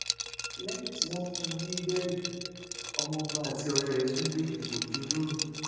lẹyìn tí wọn fún wọn ní bẹẹlì ọmọọba àtọrẹ ẹ tún gbé egbòogi olóró